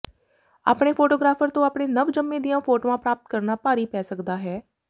ਆਪਣੇ ਫੋਟੋਗ੍ਰਾਫਰ ਤੋਂ ਆਪਣੇ ਨਵਜੰਮੇ ਦੀਆਂ ਫੋਟੋਆਂ ਪ੍ਰਾਪਤ ਕਰਨਾ ਭਾਰੀ ਪੈ ਸਕਦਾ ਹੈ